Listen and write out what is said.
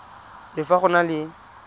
le fa go na le